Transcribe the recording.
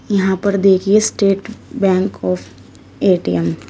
यहां पर देखिए स्टेट बैंक ऑफ़ ए_टी_एम --